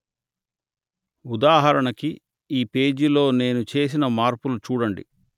ఉదాహరణకి ఈ పేజీలో నేను చేసిన మార్పులు చూడండి